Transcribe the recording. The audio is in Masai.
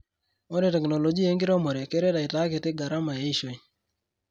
Ore teknolojia enkiremore keret aitakiti garama eishoi.